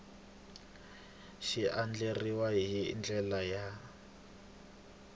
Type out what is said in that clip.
xi andlariwile hi ndlela ya